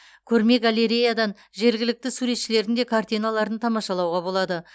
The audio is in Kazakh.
көрме галереядан жергілікті суретшілердің де картиналарын тамашалауға болады